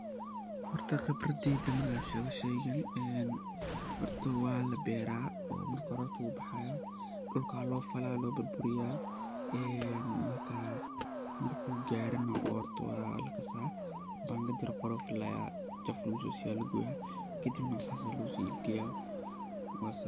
Horta khibradisa hadan shego marka horta waa laberaa, oo mel aya lageyaa marki kabacdi ayaa marku boxo bangad yar oo khonof leh aya jaf lagusiyaa kabacdi waxa lageyaa kadibna sas ayaa lagu suq geyaa.